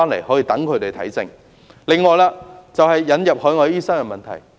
此外，我想談談引入海外醫生的問題。